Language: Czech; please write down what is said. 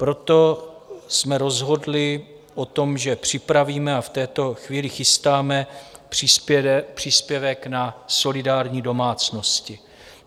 Proto jsme rozhodli o tom, že připravíme - a v tuto chvíli chystáme - příspěvek na solidární domácnosti.